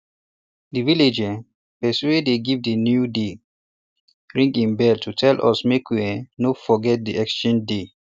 de village um person wey dey give new dey ring e bell to tell us make we um no forget de exchange day